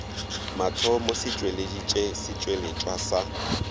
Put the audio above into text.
mathomo se tšweleditše setšweletšwa sa